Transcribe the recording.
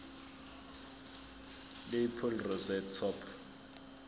lapel rosette top